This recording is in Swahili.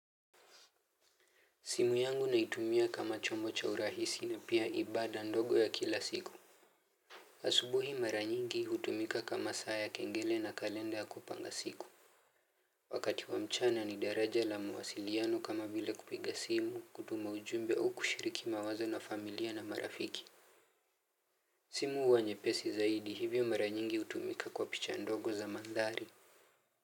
Simu yangu naitumia kama chombo cha urahisi na pia ibada ndogo ya kila siku. Asubuhi maranyingi hutumika kama saa ya kengele na kalenda ya kupanga siku. Wakati wa mchana ni daraja la muwasiliano kama vile kupiga simu kutuma ujumbe au kushiriki mawazo na familia na marafiki. Simu huwa nyepesi zaidi hivyo maranyingi hutumika kwa picha ndogo za mandhari.